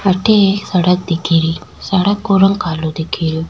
अठे एक सड़क दिखे री सड़क को रंग कालो दिखे रियो।